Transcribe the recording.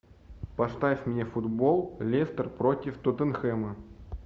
поставь мне футбол лестер против тоттенхэма